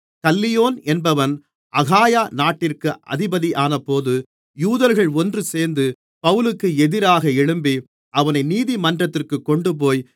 கல்லியோன் என்பவன் அகாயா நாட்டிற்கு அதிபதியானபோது யூதர்கள் ஒன்றுசேர்ந்து பவுலுக்கு எதிராக எழும்பி அவனை நீதிமன்றத்திற்கு கொண்டுபோய்